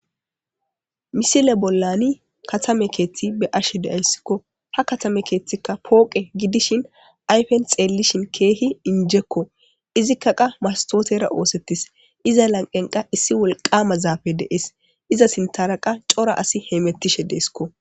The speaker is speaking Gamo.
Misile bollani katame keeththi be ashe de'ayssikko ha katame keeththikka pooqe gidishin ayfen xeellishin keehi injekko izikka qa mastootera oosettis iza lanqenqa issi wolqama zaafe deees iza sintaraqa cora asi heymettishe deeskko.